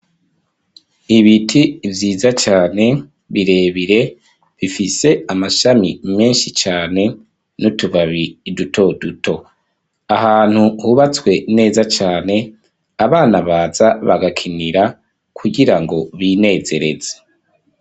Ibiti vyiza cane, birebire, bifise amashami menshi cane, n'utubabi duto duto; ahantu hubatswe, neza cane, abana baza bagakinira, kugira ngo binezereze.